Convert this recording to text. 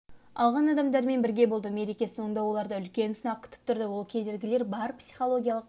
алған адамдармен бірге болды мереке соңында оларды үлкен сынақ күтіп тұрды ол кедергілері бар психологиялық